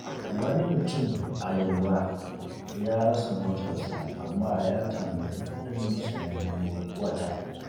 Wani mutum a Yelwa ya rasa motarsa, amma ya tanadi kuɗin sayen wata.